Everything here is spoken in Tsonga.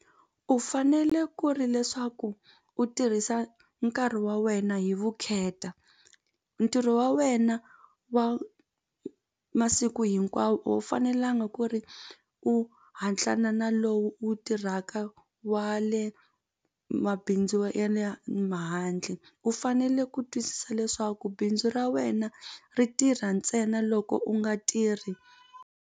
U fanele ku ri leswaku u tirhisa nkarhi wa wena hi vukheta ntirho wa wena wa masiku hinkwawo a wu fanelanga ku ri u hatlana na lowu wu tirhaka wa le mabindzu ya le ma handle u fanele ku twisisa leswaku bindzu ra wena ri tirha ntsena loko u nga tirhi.